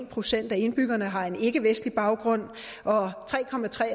procent af indbyggerne har en ikkevestlig baggrund og